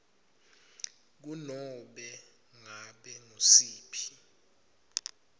kunobe ngabe ngusiphi